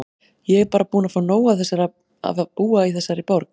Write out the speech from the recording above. Ég er bara búin að fá nóg af að búa í þessari borg.